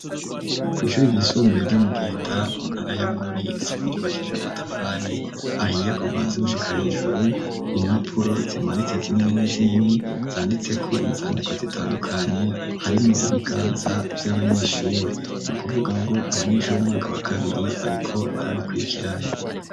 Kw'ishure ry'isumbuye ryo mu giheta mu ntara ya bururi ryubakishijwe amatafari ahiye kuva hasi gushika hejuru impapuro zimanitse zinini zinini zanditseko inzandiko zitandukanye harimwo ibiganza vy'abanyeshure nu kuvuga ngo abanyeshure umwaka wa kabiri bariko barabikurikirana.